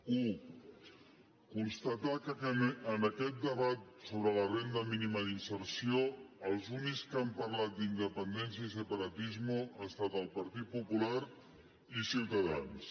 una constatar que en aquest debat sobre la renda mínima d’inserció els únics que han parlat d’ independència i separatismo han estat el partit popular i ciutadans